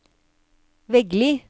Veggli